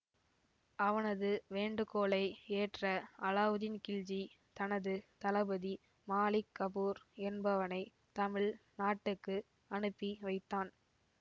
அவனது வேண்டுகோளை ஏற்ற அலாவுதீன்கில்ஜி தனது தளபதி மாலிக் கபூர் என்பவனை தமிழ் நாட்டுக்கு அனுப்பி வைத்தான்